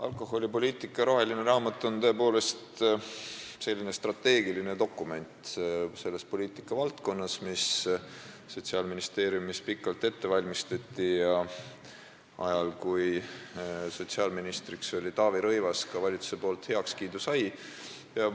Alkoholipoliitika roheline raamat on selles poliitikavaldkonnas tõepoolest strateegiline dokument, mida Sotsiaalministeeriumis pikalt ette valmistati ja mis ajal, kui sotsiaalministriks oli Taavi Rõivas, ka valitsuselt heakskiidu sai.